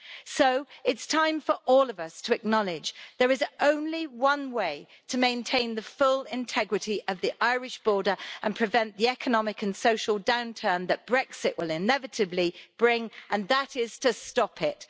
So it is time for all of us to acknowledge that there is only one way to maintain the full integrity of the Irish border and prevent the economic and social downturn that Brexit will inevitably bring, and that is to stop it.